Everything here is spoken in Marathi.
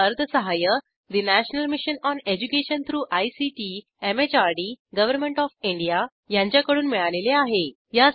यासाठी अर्थसहाय्य national mission on education through ICT MHRD government of India यांच्याकडून मिळालेले आहे